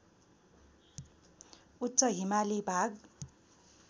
उच्च हिमाली भाग